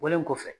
Wolo kɔfɛ